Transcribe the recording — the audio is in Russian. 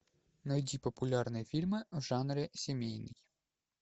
найди популярные фильмы в жанре семейный